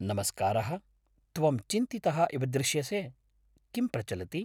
नमस्कारः, त्वं चिन्तितः इव दृश्यसे, किं प्रचलति?